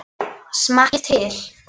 Smakkið til.